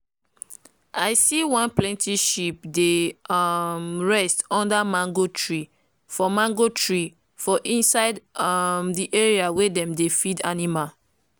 i see one plenty sheep dey um rest under mango tree for mango tree for inside um the area wey dem dey feed animal